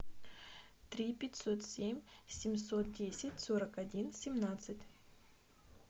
три пятьсот семь семьсот десять сорок один семнадцать